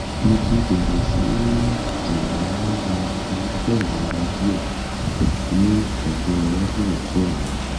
mo ti bẹ̀rẹ̀ sí ní ní ìmọ̀lára irúfẹ́ ìrora díẹ̀ ní ẹ̀gbẹ́ iwájú ọ̀tún mi